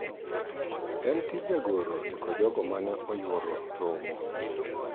En tij jagoro ndiko jogo mane oyworo romo